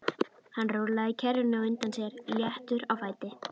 Hann rúllaði kerrunni á undan sér léttur á fæti.